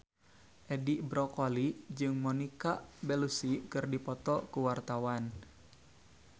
Edi Brokoli jeung Monica Belluci keur dipoto ku wartawan